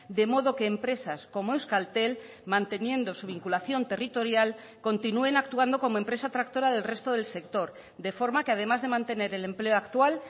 de modo que empresas como euskaltel manteniendo su vinculación territorial continúen actuando como empresa tractora del resto del sector de forma que además de mantener el empleo actual